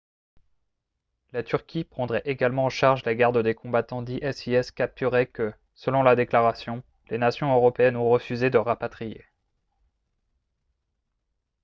la turquie prendrait également en charge la garde des combattants d'isis capturés que selon la déclaration les nations européennes ont refusé de rapatrier